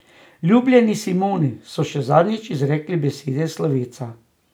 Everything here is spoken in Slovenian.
Ljubljeni Simoni so še zadnjič izrekli besede slovesa.